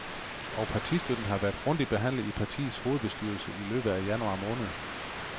Og partistøtten har været grundigt behandlet i partiets hovedbestyrelsen i løbet af januar måned.